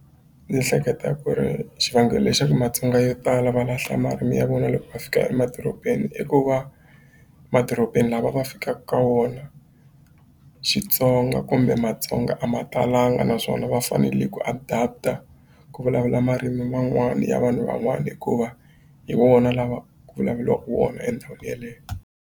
Ni hleketa ku ri xivangelo le xa ku Matsonga yo tala va lahla marimi ya vona loko va fika emadorobeni i ku va madorobeni lama va fikaka ka wona Xitsonga kumbe Matsonga a ma talanga naswona va fanele ku adapt-a ku vulavula marimi man'wani ya vanhu van'wana hikuva hi wona lawa ku vulavuriwaka wona endhawini yeleyo.